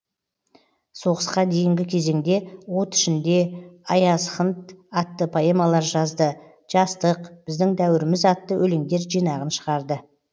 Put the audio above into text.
соғысқа дейінгі кезеңде от ішінде аязхнт атты поэмалар жазды жастық біздің дәуіріміз атты өлеңдер жинағын шығарды